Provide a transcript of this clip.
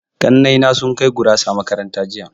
Ƙannai na sun kai gurasa makaranta jiya.